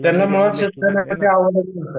त्यांना